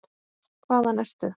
Hvaðan ertu?